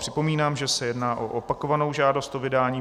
Připomínám, že se jedná o opakovanou žádost o vydání.